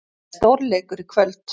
Þetta er stórleikur í kvöld.